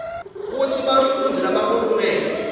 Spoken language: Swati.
kutsi bafundzi labakulungele